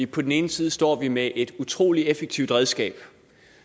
på den ene side står vi med et utrolig effektivt redskab